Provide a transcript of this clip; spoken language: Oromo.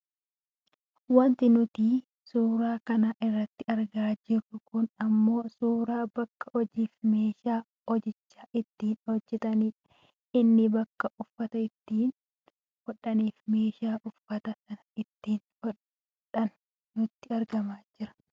Wanti nuti suuraa kana irratti argaa jirru kun ammoo suuraa bakka hojii fi messhaa hojicha ittiin hojjatanidha. Inni bakka uffata itti hodhaniifi meeshaa uffata sana ittiin hodhantu nutti argamaa jira.